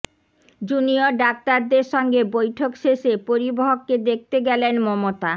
junior ডাক্তারদের সঙ্গে বৈঠক শেষে পরিবহকে দেখতে গেলেন মমতা